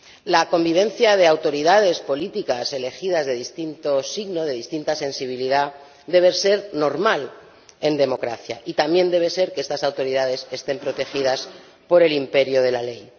La convivencia de autoridades políticas elegidas de distinto signo, de distinta sensibilidad, debe ser normal en democracia y también debe serlo que estas autoridades estén protegidas por el imperio de la ley.